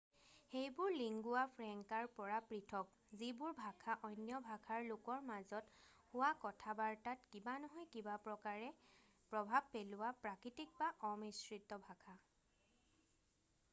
সেইবোৰ লিংগুৱা ফ্ৰেংকাৰ পৰা পৃথক যিবোৰ ভাষা অন্য ভাষাৰ লোকৰ মাজত হোৱা কথা-বাৰ্তাত কিবা নহয় কিবা প্ৰকাৰে প্ৰভাৱ পেলোৱা প্ৰাকৃতিক বা অমিশ্ৰিত ভাষা